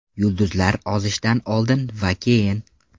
Yulduzlar ozishdan oldin va keyin.